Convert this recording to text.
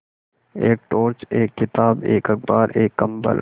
एक टॉर्च एक किताब एक अखबार एक कम्बल